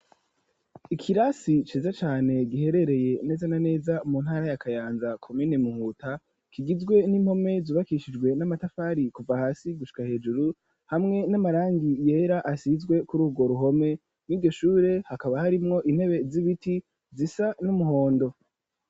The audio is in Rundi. Ikirasi ciza cane giherereye neza na neza mu ntara ya Kayanza komine Muhuta kigizwe n'impome zubakishijwe n'amatafari kuva hasi gushika hejuru hamwe n'amarangi yera asizwe kuri urwo ruhome rwryo shure hakaba harimwo intebe z'ibiti zisa n'umuhondo.